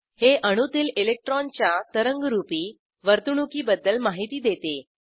हे अणूतील इलेक्ट्रॉनच्या तरंगरूपी वर्तणूकीबद्दल माहिती देते